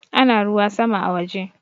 Ana ruwa sama a waje